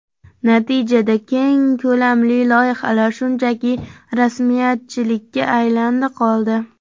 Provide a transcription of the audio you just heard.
Natijada keng ko‘lamli loyihalar shunchaki rasmiyatchilikka aylandi-qoldi.